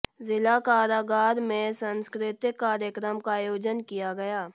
जिला कारागार में सांस्कृतिक कार्यक्रम का आयोजन किया गया